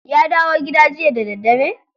Ya dawo gida jiya da dare?